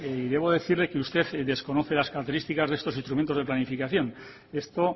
y debo decirle que usted desconoce las características de estos instrumentos de planificación esto